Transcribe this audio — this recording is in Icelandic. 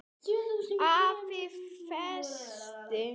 AFI Fest